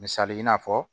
Misali i n'a fɔ